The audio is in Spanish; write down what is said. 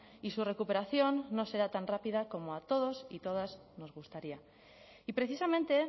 y su recuperación no será tan rápida como a todos y todas nos gustaría y precisamente